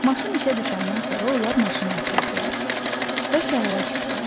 Maşın işə düşəndən sonra onlar maşına oturdular və şəhərə çıxdılar.